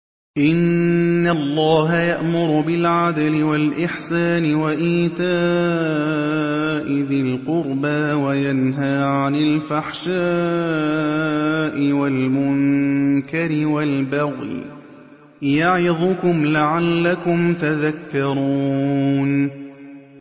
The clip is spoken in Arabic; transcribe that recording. ۞ إِنَّ اللَّهَ يَأْمُرُ بِالْعَدْلِ وَالْإِحْسَانِ وَإِيتَاءِ ذِي الْقُرْبَىٰ وَيَنْهَىٰ عَنِ الْفَحْشَاءِ وَالْمُنكَرِ وَالْبَغْيِ ۚ يَعِظُكُمْ لَعَلَّكُمْ تَذَكَّرُونَ